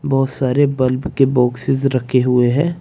बहुत सारे बल्ब के बॉक्सेस रखे हुए हैं।